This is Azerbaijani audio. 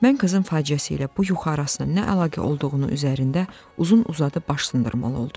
Mən qızın faciəsi ilə bu yuxu arasına nə əlaqə olduğunu üzərində uzun-uzadı baş sındırmalı oldum.